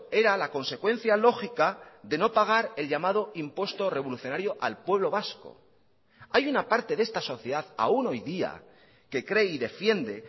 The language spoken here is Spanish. era la consecuencia lógica de no pagar el llamado impuesto revolucionario al pueblo vasco hay una parte de esta sociedad aún hoy día que cree y defiende